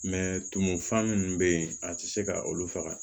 tumu fa minnu bɛ yen a tɛ se ka olu faga